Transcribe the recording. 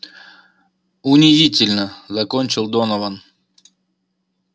унизительно закончил донован